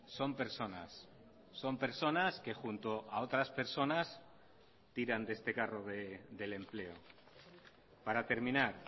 son personas son personas que junto a otras personas tiran de este carro del empleo para terminar